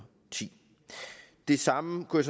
ti det samme kunne